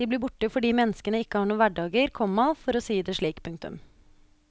De blir borte fordi menneskene ikke har noen hverdager, komma for å si det slik. punktum